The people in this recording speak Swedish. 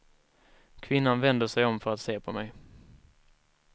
Kvinnan vänder sig om för att se på mig.